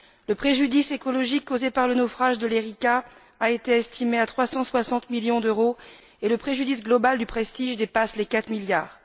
Le préjudice écologique causé par le naufrage de l'Erika a été estimé à 360 millions d'euros et le préjudice global du Prestige dépasse les 4 milliards.